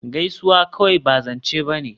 Gaisuwa kawai ba zance ba ne